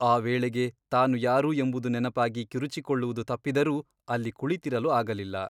ಆ ವೇಳೆಗೆ ತಾನು ಯಾರು ಎಂಬುದು ನೆನಪಾಗಿ ಕಿರುಚಿಕೊಳ್ಳುವುದು ತಪ್ಪಿದರೂ ಅಲ್ಲಿ ಕುಳಿತಿರಲು ಆಗಲಿಲ್ಲ.